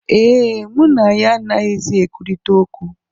Ee, mụ na ya anaghịzi ekwurịta okwu